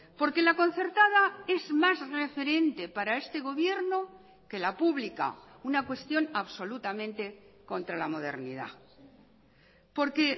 porque la concertada es más referente para este gobierno que la pública una cuestión absolutamente contra la modernidad porque